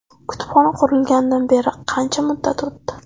Kutubxona qurilganidan beri qancha muddat o‘tdi?